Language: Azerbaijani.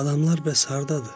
Adamlar bəs hardadır?